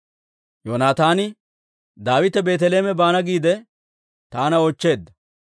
Yoonataani, «Daawite Beeteleeme baana giide taana oochcheedda;